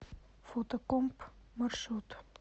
фотокомп маршрут